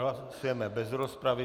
Hlasujeme bez rozpravy.